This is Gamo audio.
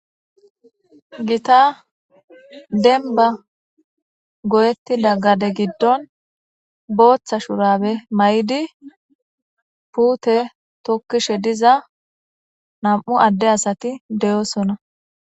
gita denba goyettida gade giddon booththa shurabe may7idi puute tokkishe diza nam7u adde asati de7osona